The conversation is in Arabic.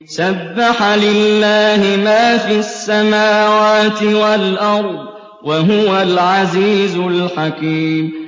سَبَّحَ لِلَّهِ مَا فِي السَّمَاوَاتِ وَالْأَرْضِ ۖ وَهُوَ الْعَزِيزُ الْحَكِيمُ